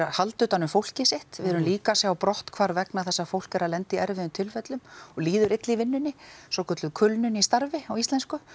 halda utan um fólkið sitt við erum líka að sjá brottfall vegna þess að fólk er að lenda í erfiðum tilfellum og líður illa í vinnunni svokölluð kulnun í starfi á íslensku